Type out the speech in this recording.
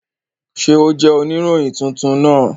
Ṣe o jẹ onirohin tuntun naa?